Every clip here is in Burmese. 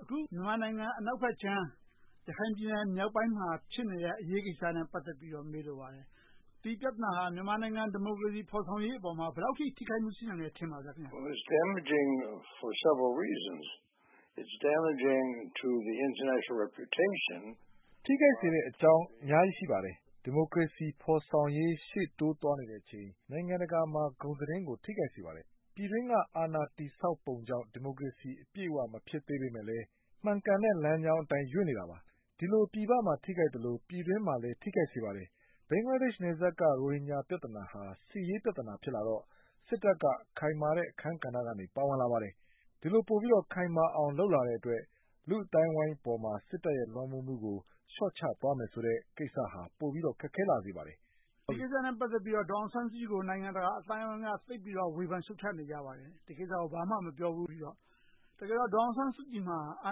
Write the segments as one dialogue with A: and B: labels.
A: အခု မြန်မာနိုင်ငံ အနောက်ဘက်ခြမ်း ရခိုင်ပြည်နယ် မြောက်ပိုင်းမှာ ဖြစ်နေတဲ့ အရေးကိစ္စနဲ့ ပတ်သက်ပြီးတော့ မေးလိုပါတယ်။ ဒီပြဿနာဟာ မြန်မာနိုင်ငံ ဒီမိုကရေစီ ဖော်ဆောင်ရေးအပေါ်မှာ ဘယ်လောက်အထိ ထိခိုက်မှု ရှိပါသလဲ။
B: ထိခိုက်စေတဲ့အကြောင်း အများကြီး ရှိပါတယ်။ ဒီမိုကရေစီ ဖော်ဆောင်ရေး ရှေ့တိုးသွားနေတဲ့အချိန် နိုင်ငံတကာမှာ ဂုဏ်သတင်းကို ထိခိုက်စေပါတယ်။ ပြည်တွင်းက အာဏာတည်ဆောက်ပုံကြောင့် ဒီမိုကရေစီ အပြည့်အဝ မဖြစ်သေးပေမယ့်လည်း မှန်ကန်တဲ့ လမ်းကြောင်းအတိုင်း ရွေ့နေတာပါ။ ဒီလို ပြည်ပမှာ ထိခိုက်သလို၊ ပြည်တွင်းမှာလည်း ထိခိုက်စေပါတယ်။ ဘင်္ဂလားဒေ့ရှ်နယ်စပ်က ရိုဟင်ဂျာပြဿနာဟာ စစ်ရေးပြဿနာ ဖြစ်လာတော့ စစ်တပ်က ခိုင်မာတဲ့ အခန်းကဏ္ဍကနေ ပါဝင်လာပါတယ်။ ဒီလိုပိုပြီး ခိုင်မာအောင် လုပ်လာတဲ့အတွက် လူ့အသိုင်းအဝိုင်းပေါ်မှာ စစ်တပ်ရဲ့ လွှမ်းမိုးမှုကို လျှော့ချသွားမယ်ဆိုတဲ့ ကိစ္စဟာ ပိုပြီးတော့ ခက်ခဲလာစေပါတယ်။
A: ဒီကိစ္စနဲ့ ပတ်သက်ပြီးတော့ ဒေါ်အောင်ဆန်းစုကြည်ကို နိုင်ငံတကာ အသိုင်းအဝိုင်းက သိပ်ပြီးတော့ ဝေဖန်ရှုတ်ချနေကြပါတယ်။ ဒီကိစ္စကို ဘာမှ မပြောဘူး။ ဒေါ်အောင်ဆန်းစုကြည်မှာ အာ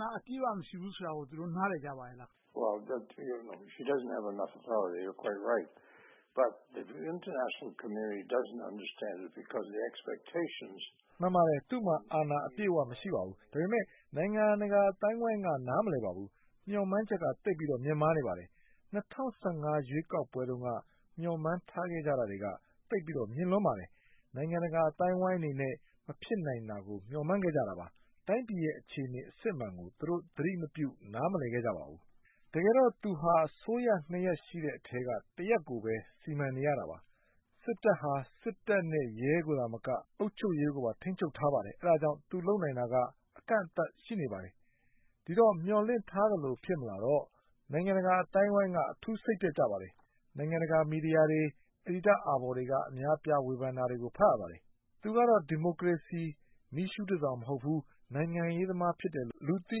A: ဏာ အပြည့်အဝ မရှိဘူးဆိုတာကို သူတို့ နားလည်ကြပါလား။
B: မှန်ပါတယ်။ သူ့မှာ အာဏာအပြည့်အဝ မရှိပါဘူး။ ဒါပေမဲ့ နိုင်ငံတကာ အသိုင်းအဝိုင်းက နားမလည်ပါဘူး။ မျှော်မှန်းချက်က သိပ်ပြီးမြင့်မားနေပါတယ်။ ၂၀၁၅ ရွေးကောက်ပွဲတုန်းက မျှော်မှန်းထားခဲ့ကြတာက သိပ်ပြီးတော့ မြင့်လွန်ပါတယ်။ နိုင်ငံတကာ အသိုင်းအဝိုင်းအနေနဲ့ မဖြစ်နိုင်တာကို မျှော်မှန်းခဲ့ကြတာပါ။ တိုင်းပြည်ရဲ့ အခြေအနေ အစစ်အမှန်ကို သူတို့ သတိမပြု၊ နားမလည်ခဲ့ကြပါဘူး။ တကယ်တော့ သူဟာ အစိုးရနှစ်ရပ်ရှိတဲ့အထဲက တစ်ရပ်ကိုပဲ စီမံနေရတာပါ။ စစ်တပ်ဟာ စစ်တပ်နဲ့ ရဲကိုသာမက အုပ်ချုပ်ရေးကိုပါ ထိန်းချုပ်ထားပါတယ်။ အဲဒါကြောင့် သူလုပ်နိုင်တာက အကန့်အသတ် ရှိနေပါတယ်။ ဒီတော့ မျှော်လင့်ထားသလို ဖြစ်မလာတော့ နိုင်ငံတကာအသိုင်းအဝိုင်းက အထူးစိတ်ပျက်ကြပါတယ်။ နိုင်ငံတကာ မီဒီယာတွေ၊ အယ်ဒီတာ့အာဘော်တွေက အများအပြား ဝေဖန်တာတွေကို ဖတ်ရပါတယ်။ သူကတော့ ဒီမိုကရေစီ မီးရှူးတဆောင် မဟုတ်ဘူး။ နိုင်ငံရေးသမား ဖြစ်တယ်လို့ လူသိ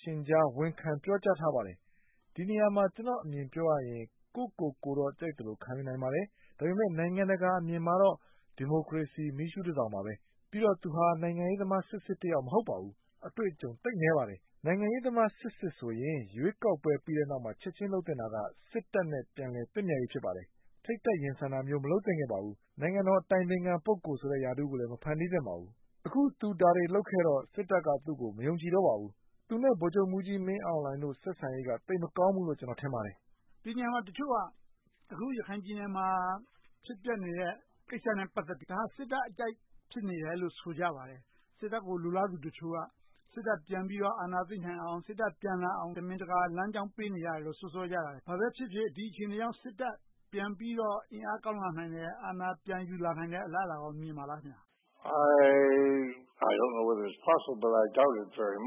B: ရှင်ကြား ဝန်ခံပြောကြားထားပါတယ်။ ဒီနေရာမှာ ကျနော့်အမြင် ပြောရရင် ကိုယ့်ကိုယ်ကိုတော့ ခံယူနိုင်ပါတယ်။ ဒါပေမဲ့ နိုင်ငံတကာအမြင်မှာတော့ ဒီမိုကရေစီ မီးရှူးတဆောင်ပါပဲ။ ပြီးတော့ သူဟာ နိုင်ငံရေးသမားစစ်စစ်တယောက် မဟုတ်ပါဘူး။ အတွေ့အကြုံ သိပ်နည်းပါတယ်။ နိုင်ငံရေးသမားစစ်စစ်ဆိုရင် ရွေးကောက်ပွဲ ပြီးတဲ့နောက်မှာ ချက်ချင်းလုပ်သင့်တာက စစ်တပ်နဲ့ ပြန်လည်သင့်မြတ်ရေး ဖြစ်ပါတယ်။ ထိပ်တန်းရင်ဆိုင်တာမျိုး မလုပ်သင့်ခဲ့ပါဘူး။ နိုင်ငံတော် အတိုင်ပင်ခံ ပုဂ္ဂိုလ်ဆိုတဲ့ ရာထူးကိုလည်း မဖန်တီးသင့်ပါဘူး။ အခု ဒါတွေလုပ်ခဲ့တော့ စစ်တပ်က သူကို မယုံကြည်တော့ပါဘူး။ သူနဲ့ ဗိုလ်ချုပ်မှူးကြီး မင်းအောင်လှိုင်တို့ ဆက်ဆံရေးက သိပ်မကောင်းဘူးလို့ ကျနော် ထင်ပါတယ်။
A: ဒီနေရာမှာ တချို့က အခု ရခိုင်ပြည်နယ်မှာ ဖြစ်ပျက်နေတဲ့ ကိစ္စနဲ့ ပတ်သက်ပြီး ဒါက စစ်တပ်အကြိုက် ဖြစ်နေတယ်လို့ ဆိုကြပါတယ်။ စစ်တပ်ကို လိုလားသူတချို့က စစ်တပ်ပြန်ပြီးတော့ အာဏာသိမ်းနိုင်အောင် စစ်တပ်ပြန်လာအောင် တမင်တကာ လမ်းကြောင်းပေးနေတယ်လို့ စွပ်စွဲပြောဆိုကြတယ်။ ဘာပဲဖြစ်ဖြစ် ဒီအခြေအနေကြောင့် စစ်တပ်ပြန်ပြီးတော့ အင်အားကောင်းလာမယ်။ အာဏာပြန်ယူလာနိုင်မယ့် အလားအလာကော မြင်ပါလား။
B: ဒါတော့ သိပ်မ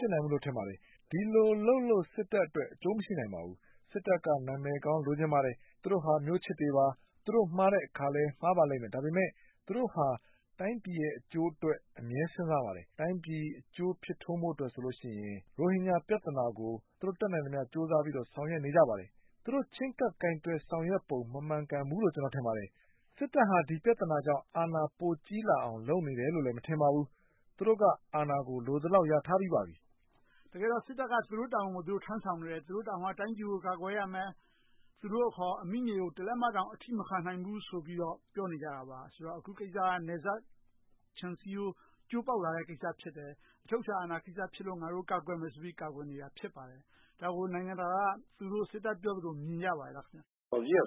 B: ဖြစ်နိုင်ဘူးလို့ ထင်ပါတယ်။ ဒီလိုလုပ်လို့ စစ်တပ်အတွက် အကျိုးမရှိနိုင်ပါဘူး။ စစ်တပ်က နာမည်ကောင်း လိုချင်ပါတယ်။ သူတို့ဟာ မျိုးချစ်တွေပါ။ သူတို့မှားတဲ့အခါလည်း မှားပါလိမ့်မယ်။ ဒါပေမဲ့ သူတို့ဟာ တိုင်းပြည်ရဲ့ အကျိုးအတွက် အမြဲစဉ်းစားပါတယ်။ တိုင်းပြည်အကျိုးဖြစ်ထွန်းဖို့အတွက်ဆိုရင် ရိုဟင်ဂျာပြဿနာကို တတ်နိုင်သမျှ ကြိုးစားပြီးတော့ ဆောင်ရွက်နေပါတယ်။ သူတို့ချဉ်းကပ်ဆောင်ရွက်ပုံ မမှန်ကန်ဘူးလို့ ကျနော် ထင်ပါတယ်။ စစ်တပ်ဟာ ဒီပြဿနာကြောင့် အာဏာပိုကြီးလာအောင် လုပ်နေတယ်လို့ မထင်ပါဘူး။ သူတို့က အာဏာကို လိုသလောက် ရထားပြီးပါပြီ။
A: တကယ်တော့ စစ်တပ်ကို သူတို့တာဝန်ကို သူတို့ထမ်းဆောင်နေတယ်။ သူတို့တာဝန်က တိုင်းပြည်ကို ကာကွယ်ရမယ်။ သူတို့အခေါ် အမိမြေကို တလက်မတောင် အထိမခံနိုင်ဘူးဆိုပြီးတော့ ပြောနေကြတာပါ။ အခုကိစ္စက နယ်စပ်ခြံစည်းရိုး ကျိုးပေါက်လာတဲ့ကိစ္စ ဖြစ်တယ်။ အချုပ်အခြာ အာဏာကိစ္စဖြစ်လို့ ငါတို့ ကာကွယ်မယ်ဆိုပြီး ကာကွယ်နေတာ ဖြစ်ပါတယ်။ ဒါကို နိုင်ငံတကာက သူတို့စစ်တပ်ပြောသလို မြင်ကြပါရဲ့လား။
B: မှန်ပါတယ်။ သူတို့ တကယ်ပဲ ကာကွ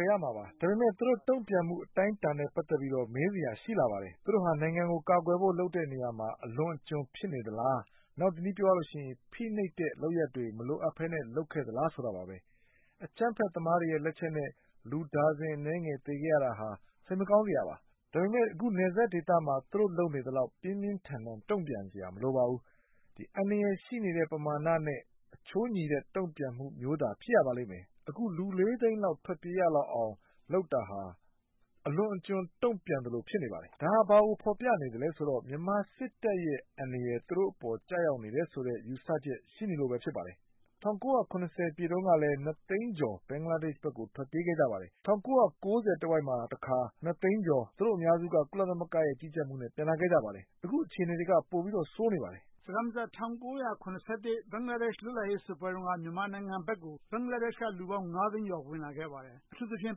B: ယ်ရမှာပါ။ ဒါပေမဲ့ သူတို့ တုံ့ပြန်မှု အတိုင်းအတာနဲ့ ပတ်သက်ပြီးတော့ မေးစရာ ရှိလာပါတယ်။ သူတို့ဟာ နိုင်ငံကို ကာကွယ်ဖို့ လုပ်တဲ့နေရာမှာ အလွန်အကျွံ ဖြစ်နေသလား။ နောက်တနည်းပြောရရင် ဖိနှိပ်တဲ့ လုပ်ရပ်တွေ မလိုအပ်ဘဲ လုပ်ခဲ့သလားဆိုတာပါ။ အကြမ်းဖက်သမားတွေရဲ့ လက်ချက်နဲ့ လူဒါဇင် အနည်းငယ်သေခဲ့ရတာဟာ စိတ်မကောင်းစရာပါ။ ဒါပေမဲ့ နယ်စပ်ဒေသမှာ သူတို့လုပ်နေသလောက် ပြင်းပြင်းထန်ထန် တုံ့ပြန်စရာ မလိုပါဘူး။ အန္တရာယ်ရှိနေတဲ့ ပမာဏနဲ့ အချိုးညီတဲ့ တုံ့ပြန်မှုမျိုးသာ ဖြစ်ရပါလိမ့်မယ်။ အခု လူ သိန်းလောက် ထွက်ပြေးရလောက်အောင် လုပ်တာဟာ အလွန်အကျွံ တုံ့ပြန်သလို ဖြစ်နေပါတယ်။ ဒါဘာကို ဖော်ပြနေသလဲဆိုတော့ မြန်မာစစ်တပ်ရဲ့ အန္တရာယ် သူတို့အပေါ် ကျရောက်နေတယ်ဆိုတဲ့ ယူဆချက် ရှိနေလို့ ဖြစ်ပါတယ်။ ၁၉၇၀ ပြည့်တုန်းကလည်း နှစ်သိန်းကျော် ဘင်္ဂလားဒေ့ရှ်ဘက်ကို ထွက်ပြေးခဲ့ကြပါတယ်။ ၁၉၉၀ တဝိုက်မှာတခါ နှစ်သိန်းကျော် သူတို့အများစုက ကုလသမဂ္ဂရဲ့ ကြီးကြပ်မှုနဲ့ ပြန်လာခဲ့ကြပါတယ်။ အခု အခြေအနေက ပိုပြီးဆိုးနေပါတယ်။
A: စကားမစပ် ၁၉၇၁ ခုနှစ် ဘင်္ဂလားဒေ့ရှ် လွတ်လပ်ရေးစစ်ပွဲတုန်းက မြန်မာနိုင်ငံဘက်ကို ဘင်္ဂလားဒေ့ရှ်ဘက်က လူပေါင်း သိန်းကျော် ဝင်ခဲ့ပါတယ်။ အထူးသဖြင့်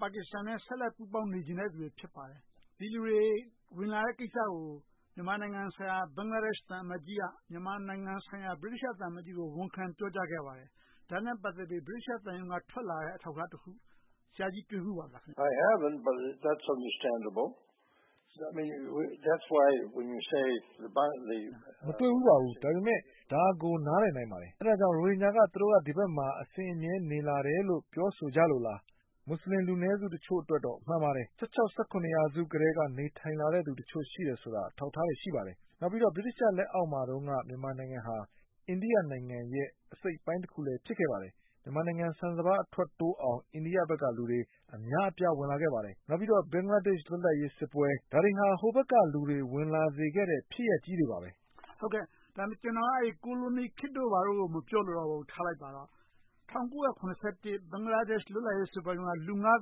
A: ပါကစ္စတန်နဲ့ ဆက်လက်ပေါင်းပြီး နေချင်တဲ့လူတွေ ဖြစ်ပါတယ်။ ဒီလူတွေ ဝင်လာတဲ့ကိစ္စကို မြန်မာနိုင်ငံဆိုင်ရာ ဘင်္ဂလားဒေ့ရှ် သံအမတ်ကြီးက မြန်မာနိုင်ငံဆိုင်ရာ ဗြိတိသျှသံအမတ်ကြီးကို ဝန်ခံပြောဆိုခဲ့ပါတယ်။ ဒါနဲ့ ပတ်သက်ပြီး ဗြိတိသျှသံရုံးက ထွက်လာတဲ့ အထောက်အထားတခုခုကို ဆရာကြီး တွေ့ဖူးပါလား။
B: မတွေ့ဖူးပါဘူး။ ဒါကို နားလည်နိုင်ပါတယ်။ အဲဒါကြောင့် ရိုဟင်ဂျာက သူတို့က ဒီဘက်မှာ အစဉ်အမြဲ နေလာတယ်လို့ ပြောဆိုကြလို့လား။ မူစလင် လူနည်းစုတချို့အတွက်တော့ မှန်ပါတယ်။ မူစလင်လူနည်းစုတချို့အတွက်တော့ မှန်ပါတယ်။ ရာစုကတည်းက နေထိုင်လာတဲ့လူတချို့ ရှိတယ်ဆိုတာ အထောက်အထားတွေ ရှိပါတယ်။ နောက်ပြီးတော့ ဗြိတိသျှလက်အောက်မှာတုန်းက မြန်မာနိုင်ငံဟာ အိန္ဒိယနိုင်ငံရဲ့ အစိတ်အပိုင်းတခုလည်း ဖြစ်ခဲ့ပါတယ်။ မြန်မာနိုင်ငံဆန်စပါး အထွက်တိုးအောင် အိန္ဒိယဘက်ကလူတွေ အများအပြား ဝင်လာခဲ့ပါတယ်။ နောက်ပြီးတော့ ဘင်္ဂလားဒေ့ရှ် လွတ်လပ်ရေးစစ်ပွဲ ဒါတွေဟာ ဟိုဘက်ကလူတွေ ဝင်လာစေခဲ့တဲ့ ဖြစ်ရပ်ကြီးတွေပါ။
A: ကျနော်က ကိုလိုနီခေတ်တို့ ဘာတို့ကို မပြောလိုတော့ဘူး။ ထားလိုက်ပါတော့။ ၁၉၇၁ ဘင်္ဂလားဒေ့ရှ် လွတ်လပ်ရေးစစ်ပွဲတုန်းက လူ သိန်းလောက်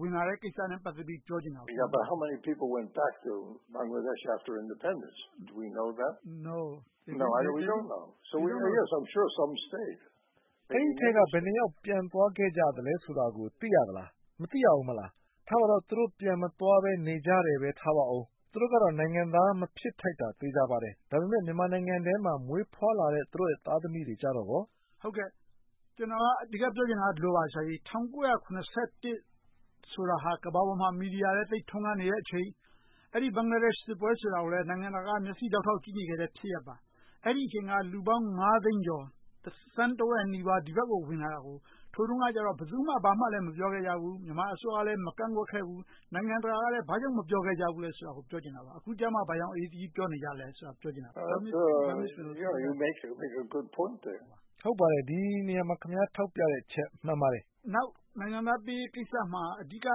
A: ဝင်လာတဲ့ကိစ္စနဲ့ ပတ်သက်ပြီး ပြောချင်ပါတယ်။
B: အဲဒီအထဲက ဘယ်နှစ်ယောက် ပြန်သွားခဲ့ကြသလဲ ဆိုတာကို သိရသလား။ မသိရဘူး မဟုတ်လား။ ထားပါတော့ သူတို့ ပြန်မသွားဘဲ နေကြတယ်ထားပါအုံး။ သူတို့ကတော့ နိုင်ငံသား မဖြစ်ထိုက်တာ သေချာပါတယ်။ ဒါပေမဲ့ မြန်မာနိုင်ငံထဲမှာ မွေးဖွားလာကြတဲ့ သူတို့သားသမီးတွေကြတော့ကော။
A: ကျနော်က အဓိကပြောချင်တာက ဒီလိုပါ ဆရာကြီး - ၁၉၇၁ ဆိုတာဟာ ကမ္ဘာပေါ်မှာလည်း မီဒီယာလည်း သိပ်ထွန်းကားနေတဲ့အချိန် ဘင်္ဂလားဒေ့ရှ် စစ်ပွဲကိုလည်း နိုင်ငံတကာက မျက်စေ့ဒေါက်ထောက် ကြည့်နေခဲ့တဲ့ ဖြစ်ရပ်ပါ။ အဲဒီအချိန်က လူပေါင်း သိန်းကျော် သန်းတဝက်နီးပါး ဒီဘက်ကို ဝင်လာတာကို အဲဒီတုန်းက ဘယ်သူမှ ဘာမှမပြောခဲ့ကြဘူး။ မြန်မာအစိုးရလည်း မကန့်ကွက်ခဲ့ဘူး။ နိုင်ငံတကာကလည်း ဘာကြောင့် မပြောကြခဲ့ဘူးဆိုတာကို ပြောချင်တာပါ။ အခုကြမှ ဘာကြောင့် အရေးတကြီး ပြောနေကြသလဲဆိုတာ ပြောချင်တာပါ။
B: ဒီနေရာမှာ ခင်များ ထောက်ပြတဲ့အချက် မှန်ပါတယ်။
A: နောက် နိုင်ငံသားပေးရေးကိစ္စမှာ အဓိက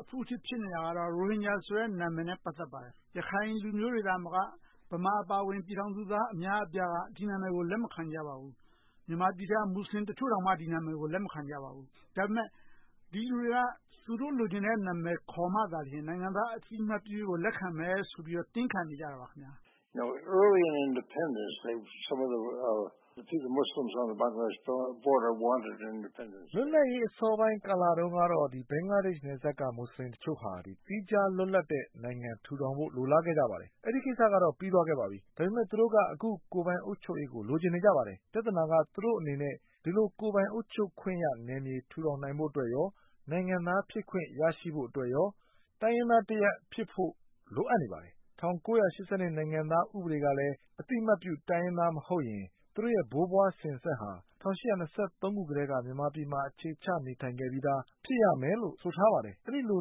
A: အဖုအထစ် ဖြစ်နေတာကတော့ ရိုဟင်ဂျာနာမည်နဲ့ ပတ်သက်ပါတယ်။ ရခိုင်လူမျိုးတွေသာမက ဗမာအပါအဝင် လူသားအများအပြားဟာ ဒီနာမည်ကို လက်မခံနိုင်ကြပါဘူး။ မြန်မာနိုင်ငံက မူစလင်တချို့တောင် ဒီနာမည်ကို လက်မခံကြပါဘူး။ ဒါပေမဲ့ ဒီလူတွေက သူတို့ လိုချင်တဲ့နာမည်ခေါ်မှသာ နိုင်ငံသား အသိအမှတ်ပြုရေးကို လက်ခံမယ်ဆိုပြီး တင်းခံနေကြပါတယ်။
B: လွတ်လပ်ရေး အစောပိုင်းကာလတုန်းကတော့ ဘင်္ဂလားဒေ့ရှ် နယ်စပ်က မူစလင်တချို့ဟာ သီးခြားလွတ်လပ်တဲ့ နိုင်ငံထူထောင်ဖို့ လိုလားခဲ့ကြပါတယ်။ အဲဒီကိစ္စကတော့ ပြီးသွားခဲ့ပါပြီ။ သူတို့က အခု ကိုယ်ပိုင်အုပ်ချုပ်ရေးကို လိုချင်နေကြပါတယ်။ ပြဿနာက သူတို့အနေနဲ့ ဒီလိုကိုယ်ပိုင်အုပ်ချုပ်ခွင့်ရ နယ်မြေထူထောင်နိုင်ဖို့အတွက် နဲ့ နိုင်ငံသားဖြစ်ခွင့် ရရှိဖို့အတွက်၊ တိုင်းရင်းသားတရပ်ဖြစ်ဖို့ လိုအပ်နေပါတယ်။ ၁၉၈၂ ခုနှစ် နိုင်ငံသားဥပဒေကလည်း အသိအမှတ်ပြု တိုင်းရင်းသားမဟုတ်ရင် သူတို့ရဲ့ ဘိုးဘွားစဉ်ဆက်ဟာ ၁၈၂၃ ခုနှစ်ကတည်းက မြန်မာပြည်မှာ အခြေချနေထိုင်ခဲ့ပြီးသာ ဖြစ်ရမယ်လို့ ဆိုထားပါတယ်။ အဲဒီလို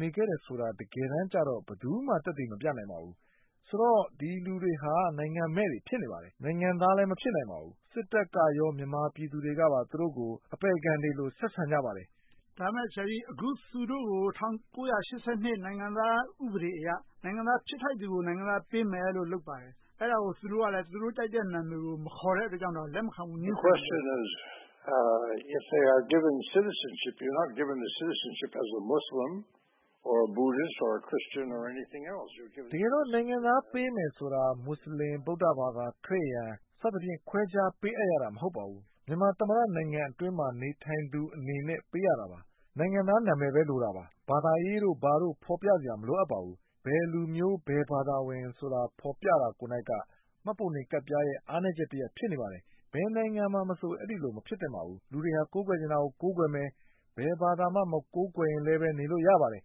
B: နေခဲ့တယ်ဆိုတာ တကယ်တမ်းကြတော့ ဘယ်သူမှ သက်သေမပြနိုင်ပါဘူး။ ဆိုတော့ ဒီလူတွေဟာ နိုင်ငံမဲ့တွေ ဖြစ်နေပါတယ်။ နိုင်ငံသားလည်း မဖြစ်နိုင်ပါဘူး။ စစ်တပ်ကရော မြန်မာပြည်သူတွေကပါ သူတို့ကို အပယ်ခံတွေလို ဆက်ဆံကြပါတယ်။
A: ဒါပေမဲ့ သူတို့ကို ၁၉၈၂ နိုင်ငံသားဥပဒေအရ နိုင်ငံသား ဖြစ်ထိုက်သူကို နိုင်ငံသားပေးမယ်လို့ လုပ်ပါတယ်။ အဲဒါကို သူတို့ကလည်း သူတို့ကြိုက်တဲ့ နာမည်ကို ခေါ်တဲ့အတွက်ကြောင့် လက်မခံဘူး ငြင်းဆိုပါတယ်။
B: တကယ်တော့ နိုင်ငံသား ပေးမယ်ဆိုတာ မူစလင်၊ ဗုဒ္ဓဘာသာ၊ ခရစ်ယာန် ခွဲခြားပေးအပ်ရတာ မဟုတ်ပါဘူး။ မြန်မာသမ္မတနိုင်ငံအတွင်းမှာ နေထိုင်သူများအနေနဲ့ ပေးရတာပါ။ နိုင်ငံသားနာမည်ပဲ လိုတာပါ။ ဘာသာရေးတို့ ဘာတို့ မလိုအပ်ပါဘူး။ ဘယ်လူမျိုး၊ ဘယ်ဘာသာဝင်ဆိုတာ ဖော်ပြတာကိုယ်နှိုက်က မှတ်ပုံတင်ကဒ်ပြားရဲ့ အားနည်းချက်တရပ် ဖြစ်နေပါတယ်။ ဘယ်နိုင်ငံမှာမဆို အဲဒီလို မဖြစ်သင့်ပါဘူး။ လူတွေဟာ ကိုးကွယ်ချင်တာကို ကိုးကွယ်မယ်။ ဘယ်ဘာသာမှ မကိုးကွယ်ရင်လည်း နေလို့ရပါတယ်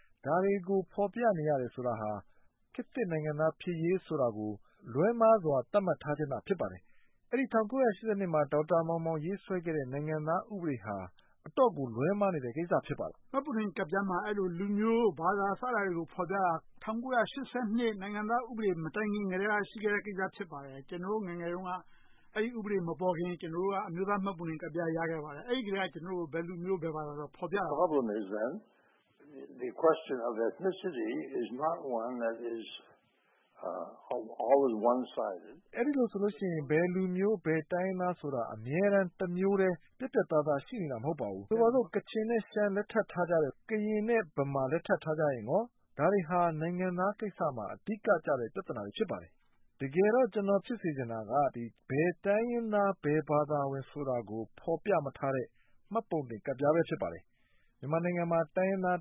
B: ။ ဒါတွေကို ဖော်ပြနေရတယ်ဆိုတာ ခေတ်သစ်နိုင်ငံသား ဖြစ်ရေးကို လွဲမှားစွာ သတ်မှတ်ထားခြင်းသာ ဖြစ်ပါတယ်။ အဲဒီ ၁၉၈၂ ခုနှစ်မှာ ဒေါက်တာမောင်မောင် ရေးဆွဲခဲ့တဲ့ နိုင်ငံသားဥပဒေဟာ အတော့်ကို လွဲမှားနေတဲ့ကိစ္စ ဖြစ်ပါတယ်။
A: မှတ်ပုံတင်ကဒ်ပြားမှာ အဲဒီလို လူမျိုး၊ ဘာသာ စတာတွေကို ဖော်ပြတာ ၁၉၈၂ နိုင်ငံသားဥပဒေ မတိုင်ခင်ကတည်းက ရှိခဲ့တဲ့ကိစ္စ ဖြစ်ပါတယ်။ ကျနော်တို့ ငယ်ငယ်တုန်းက အဲဒီဥပဒေမပေါ်ခင်က ကျနော်တို့က အမျိုးသားမှတ်ပုံတင်ကဒ်ပြား ရခဲ့ပါတယ်။ အဲဒီထဲက ကျနော်တို့ကို ဘယ်လူမျိုး၊ ဘယ်ဘာသာဆိုပြီး ဖော်ပြထားပါတယ်။
B: အဲဒီလိုဆိုရင် ဘယ်လူမျိုး၊ ဘယ်တိုင်းရင်းသားဆိုတာ အမြဲတမ်း တမျိုးတည်း ပြတ်ပြတ်သားသား ရှိခဲ့တာ မဟုတ်ပါဘူး။ ဆိုပါတော့ ကချင် နဲ့ ရှမ်း လက်ထပ်ထားကြတယ်။ ကရင် နဲ့ ဗမာ လက်ထပ်ထားကြရင်ကော - ဒါတွေဟာ နိုင်ငံသားကိစ္စမှာ အဓိကကျတဲ့ ပြဿနာတွေ ဖြစ်ပါတယ်။ တကယ်တော့ ကျနော် ဖြစ်စေချင်တာက ဘယ်တိုင်းရင်းသား၊ ဘယ်ဘာသာဝင် ဆိုတာကို ဖော်ပြမထားတဲ့ မှတ်ပုံတင်ကဒ်ပြားပဲ ဖြစ်ပါတယ်။ မြန်မာနိုင်ငံမှာ တိုင်းရင်းသား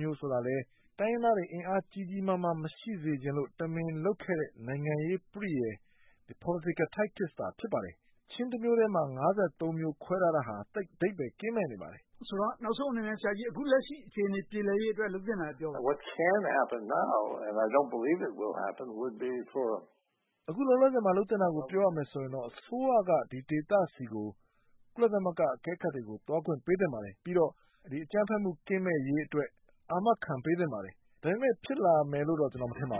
B: မျိုးဆိုတာလည်း တိုင်းရင်းသားတွေ အင်အားကြီးကြီးမားမား မရှိစေချင်လို့ တမင်လုပ်ခဲ့တဲ့ နိုင်ငံရေးပရိယာရ် Political Tactics သာ ဖြစ်ပါတယ်။ ချင်းတမျိုးထဲမှာ မျိုး ခွဲထားတာဟာ သိပ်အဓိပ္ပါယ် ကင်းမဲ့နေပါတယ်။
A: နောက်ဆုံးအနေနဲ့ ဆရာကြီး လက်ရှိအခြေအနေ ပြေလည်ရေးအတွက် လုပ်သင့်တာတွေကို ပြောပါ။
B: အခုလောလောဆယ်မှာ လုပ်သင့်တာကို ပြောရမယ်ဆိုရင်တော့ အစိုးရက ဒီဒေသဆီကို ကုလသမဂ္ဂအကဲခတ်တွေကို သွားခွင့်ပေးသင့်ပါတယ်။ ပြီးတော့ အကြမ်းဖက်မှု ကင်းမဲ့ရေးအတွက် အာမခံပေးသင့်ပါတယ်။ ဒါပေမဲ့ ဖြစ်လာမယ်လို့တော့ ကျနော် မထင်ပါဘ